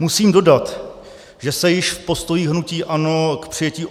Musím dodat, že se již v postojích hnutí ANO k přijetí